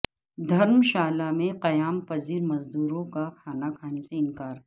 دھرمشالہ میں قیام پذیر مزدوروں کا کھانا کھانے سے انکار